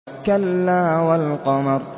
كَلَّا وَالْقَمَرِ